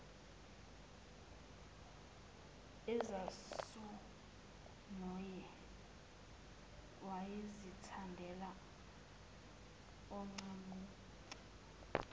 ezasongoye wayezithandela oncamunce